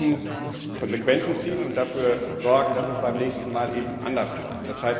Wir müssen Konsequenzen ziehen und dafür sorgen, dass es beim nächsten Mal eben anders läuft.